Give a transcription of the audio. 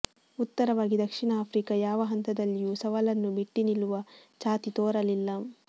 ಉತ್ತರವಾಗಿ ದಕ್ಷಿಣ ಆಫ್ರಿಕಾ ಯಾವ ಹಂತದಲ್ಲಿಯೂ ಸವಾಲನ್ನು ಮೆಟ್ಟಿ ನಿಲ್ಲುವ ಛಾತಿ ತೋರಲಿಲ್ಲ